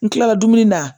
N kilala dumuni na